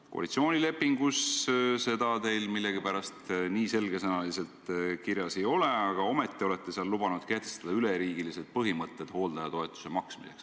Koalitsioonilepingus seda teil millegipärast nii selge sõnaga kirjas ei ole, aga ometi olete seal lubanud kehtestada üleriigilise põhimõtte hooldajatoetuse maksmiseks.